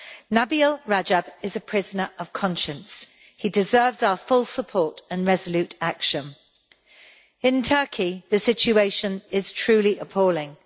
Nabeel Rajab is a prisoner of conscience he deserves our full support and resolute action. In Turkey, the situation is truly appalling.